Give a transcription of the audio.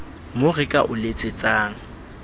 mo re ka o letsetsang